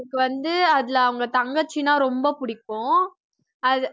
அவனுக்கு வந்து அதுல அவங்க தங்கச்சின்னா ரொம்ப பிடிக்கும். அது